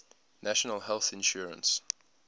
national health insurance